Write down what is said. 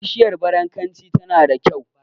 Bishiyar barankaci tana da kyau.